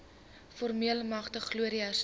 voormalige glorie herstel